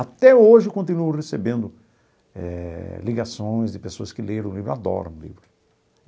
Até hoje continuo recebendo eh ligações de pessoas que leram o livro, adoram o livro.